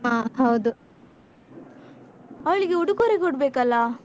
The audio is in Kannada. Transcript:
ಹ ಹೌದು, ಅವಳಿಗೆ ಉಡುಗೊರೆ ಕೊಡ್ಬೇಕಲ್ಲ?